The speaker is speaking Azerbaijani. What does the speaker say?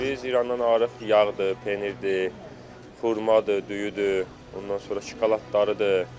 Biz İrandan alırıq, yağdır, pendirdir, xurmadır, düyüdür, ondan sonra şokoladlarıdır.